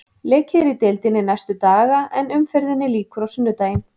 Leikið er í deildinni næstu daga en umferðinni lýkur á sunnudaginn.